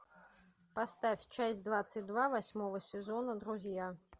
поставь часть двадцать два восьмого сезона друзья